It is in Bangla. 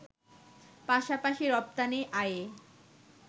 পাশাপাশি রপ্তানি আয়ে